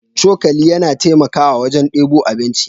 Cokali yana taimakawa wajen debo abinci.